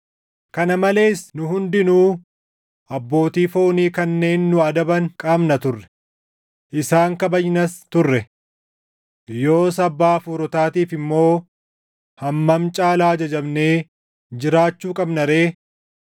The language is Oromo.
Kana malees nu hundinuu abbootii foonii kanneen nu adaban qabna turre; isaan kabajnas turre. Yoos Abbaa hafuurotaatiif immoo hammam caalaa ajajamnee jiraachuu qabna ree!